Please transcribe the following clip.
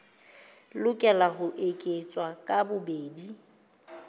lokela ho eketswa ka bobedi